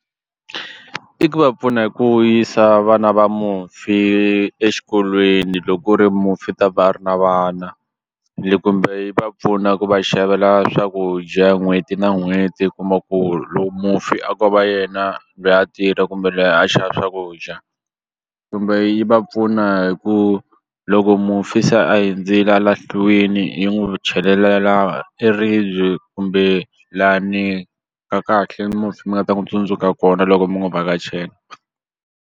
I ku va pfuna hi ku yisa vana va mufi exikolweni loko u ri mufi ta va a ri na vana kumbe yi va pfuna ku va xavela swakudya n'hweti na n'hweti u kuma ku lowu mufi a ko va yena lweyi a tirha kumbe lweyi a xava swakudya kumbe yi va pfuna hi ku loko mufi se a hundzile a lahliwini yi n'wi chelelela e ribye kumbe lani ka kahle mufi mi nga ta n'wi tsundzuka kona loko mi n'wu vhakachela.